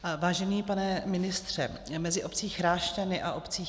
Vážený pane ministře, mezi obcí Chrášťany a obcí